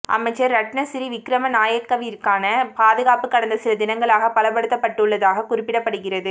அமைச்சர் ரட்னசிறி விக்ரமநாயக்கவிற்கான பாதுகாப்பு கடந்த சில தினங்களாக பலப்படுத்தப்பட்டுள்ளதாகக் குறிப்பிடப்படுகிறது